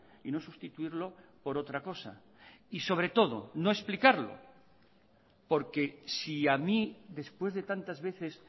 y no sustituirlo por otra cosa y sobre todo no explicarlo porque si a mí después de tantas veces